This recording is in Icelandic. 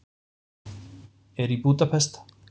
Er í Búdapest.